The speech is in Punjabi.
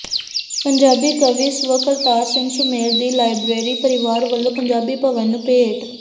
ਪੰਜਾਬੀ ਕਵੀ ਸ੍ਵ ਕਰਤਾਰ ਸਿੰਘ ਸੁਮੇਰ ਦੀ ਲਾਇਬਰੇਰੀ ਪਰਿਵਾਰ ਵੱਲੋਂ ਪੰਜਾਬੀ ਭਵਨ ਨੂੰ ਭੇਂਟ